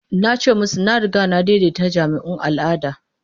Na ce musu na riga na daidaita jami'un al'ada.